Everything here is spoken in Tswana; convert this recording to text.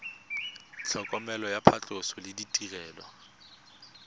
tlhokomelo ya phatlhoso le ditirelo